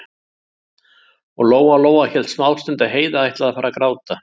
Og Lóa-Lóa hélt smástund að Heiða ætlaði að fara að gráta.